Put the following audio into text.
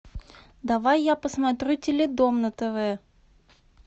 давай я посмотрю теледом на тв